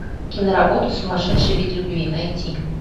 киноработа сумасшедший вид любви найти